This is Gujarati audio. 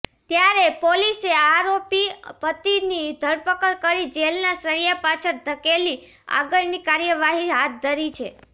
ત્યારે પોલીસે આરોપી પતિની ધરપકડ કરી જેલના સળિયા પાછળ ધકેલી આગળની કાર્યવાહી હાથ ધરી છે